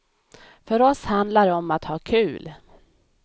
För oss handlar det om att ha kul!